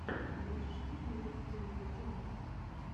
можешь показать кэнди джонсона